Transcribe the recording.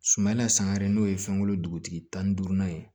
Sumala san yɛrɛ n'o ye fɛnko dugutigi tan ni duurunan ye